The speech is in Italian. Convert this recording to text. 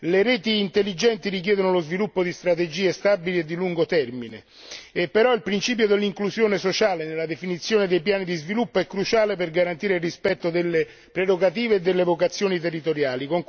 Le reti intelligenti richiedono lo sviluppo di strategie stabili e di lungo termine, ma il principio dell'inclusione sociale nella definizione dei piani di sviluppo è cruciale per garantire il rispetto delle prerogative e delle vocazioni territoriali.